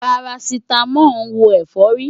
Parasítámọ̀ ń wo ẹ̀fọ́rí.